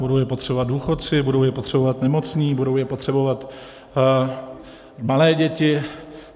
Budou je potřebovat důchodci, budou je potřebovat nemocní, budou je potřebovat malé děti.